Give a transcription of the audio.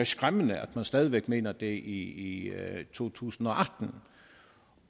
skræmmende at man stadig væk mener det i to tusind